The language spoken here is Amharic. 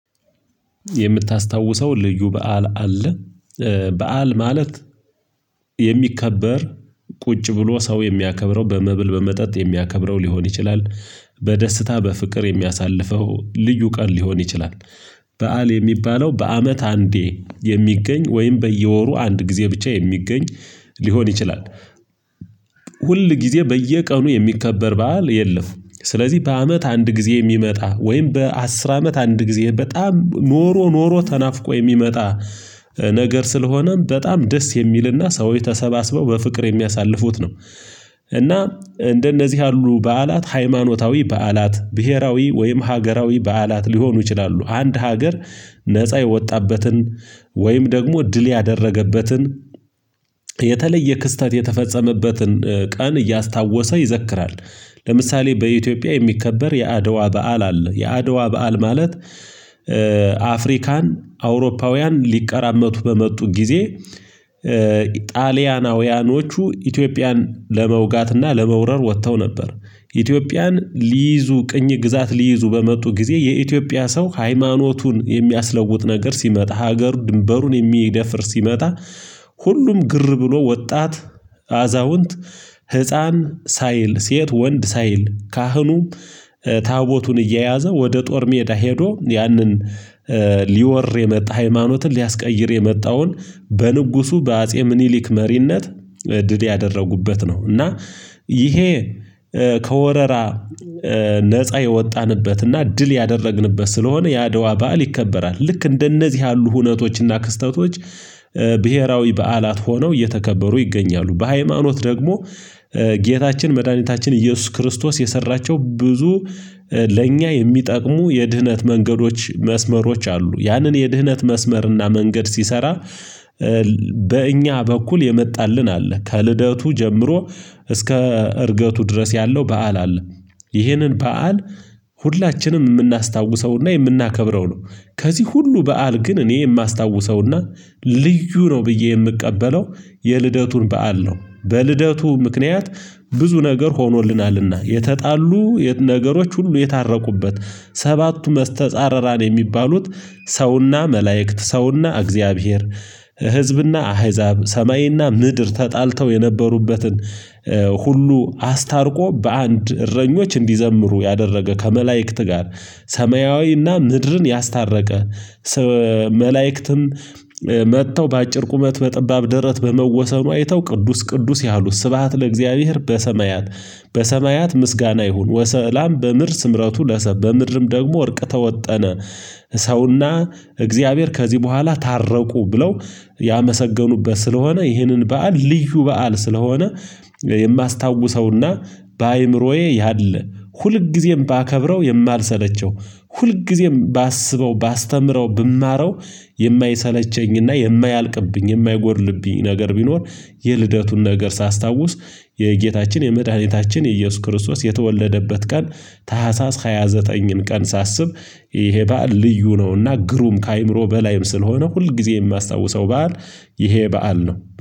የምታስታውሰው ልዩ በዓል አለ። በዓል ማለት የሚከበር ቁጭ ብሎ ሰው የሚያከብረው በመብል በመጠጥ የሚያከብረው ሊሆን ይችላል በደስታ በፍቅር የሚያሳልፈው ልዩ ቀን ሊሆን ይችላል። በዓል የሚባለው በአመት አንዴ የሚገኝ ወይም በየወሩ አንድ ጊዜ ብቻ የሚገኝ ሊሆን ይችላል። ሁል ጊዜ በየቀኑ የሚከበር በዓል የለም። ስለዚህ በአመት አንድ ጊዜ የሚመጣ ወይም በአስር አመት አንድ ጊዜ በጣም ኖሮ ኖሮ ተናፍቆ የሚመጣ ነገር ስለሆነ በጣም ደስ የሚልና ሰዎች ተሰባስበው በፍቅር የሚያሳልፉት ነው። እና እንደነዚህ ያሉ በዓላት ሃይማኖታዊ በዓላት ብሄራዊ ወይም ሀገራዊ በዓላት ሊሆኑ ይችላሉ አንድ ሀገር ነፃ የወጣበትን ወይም ደግሞ ድል ያደረገበትን የተለየ ክስተት የተፈጸመበትን ቀን እያስታወሰ ይዘክራል። ለምሳሌ በኢትዮጵያ የሚከበር የአድዋ በዓል አለ። የአድዋ በዓል ማለት እ አፍሪካን አውሮፓውያን ሊቀራመቱ በመጡ ጊዜ እ ጣሊያናውያኖቹ ኢትዮጵያን ለመውጋትና ለመውረር ወጥተው ነበር። ኢትዮጵያን ሊይዙ ቅኝ ግዛት ሊይዙ በመጡ ጊዜ የኢትዮጵያ ሰው ሃይማኖቱን የሚያስለውጥ ነገር ሲመጣ ሀገሩ ድንበሩን የሚደፍር ሲመጣ ሁሉም ግር ብሎ ወጣት አዛውንት ህፃን ሳይል ሴት ወንድ ሳይል ካህኑ ታቦቱን እየያዘ ወደ ጦር ሜዳ ሄዶ ያንን ሊወር የመጣ ሃይማኖትን ሊያስቀይር የመጣውን በንጉሱ በአጼ ምኒሊክ መሪነት ድል ያደረጉበት ነው። እና ይሄ ከወረራ ነፃ የወጣንበት እና ድል ያደረግንበት ስለሆነ የአድዋ በዓል ይከበራል ልክ እንደነዚህ ያሉ ሁነቶችና ክስተቶች ብሄራዊ በዓላት ሆነው እየተከበሩ ይገኛሉ። በሃይማኖት ደግሞ ጌታችን መድኃኒታችን ኢየሱስ ክርስቶስ የሰራቸው ብዙ ለእኛ የሚጠቅሙ የድህነት መንገዶች መስመሮች አሉ ያንን የድህነት መስመርና መንገድ ሲሰራ በእኛ በኩል የመጣልን አለ። ከልደቱ ጀምሮ እስከ እርገቱ ድረስ ያለው በዓል አለ። ይህንን በዓል ሁላችንም የምናስታውሰውና የምናከብረው ነው። ከዚህ ሁሉ በዓል ግን እኔ የማስታውሰውና ልዩ ነው ብዬ የምቀበለው የልደቱን በዓል ነው። በልደቱ ምክንያት ብዙ ነገር ሆኖልናልና የተጣሉ የት ነገሮች ሁሉ የታረቁበት ሰባቱ መስተጻርራን የሚባሉት ሰውና መላእክት ሰውና እግዚአብሔር ህዝብና አህዛብ ሰማይና ምድር ተጣልተው የነበሩበትን ሁሉ አስታርቆ በአንድ እረኞች እንዲዘምሩ ያደረገ ከመላእክት ጋር ሰማያዊና ምድርን ያስታረቀ። መላእክትም መጥተው በአጭር ቁመት በጠባብ ደረት በመወሰኑ አይተው ቅዱስ ቅዱስ ያሉት ስብሃት ለእግዚአብሔር በሰማያት በሰማያት ምስጋና ይሁን ወሰዕላም በምርስ ስምረቱ ለሰብ በምድርም ደግሞ እርቅ ተወጠነ። ሰውና እግዚአብሔር ከዚህ በኋላ ታረቁ ብለው ያመሰገኑበት ስለሆነ ይህንን በዓል ልዩ በዓል ስለሆነ። የማስታውሰውና በአእምሮዬ ያለ ሁልጊዜም ባከብረው የማልሰለቸው ሁልጊዜም ባስበው ባስተምረው ብማረው የማይሰለቸኝና የማያልቅብኝ የማይጎድልብኝ ነገር ቢኖር የልደቱን ነገር ሳስታውስ የጌታችን የመድኃኒታችን የኢየሱስ ክርስቶስ የተወለደበት ቀን ታህሳስ ሃያ ዘጠኝን ቀን ሳስብ ይሄ በዓል ልዩ ነውና ግሩም ከአይምሮ በላይም ስለሆነ ሁል ጊዜ የማስታውሰው በዓል። ይሄ በዓል ነው